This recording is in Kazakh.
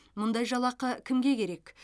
мұндай жалақы кімге керек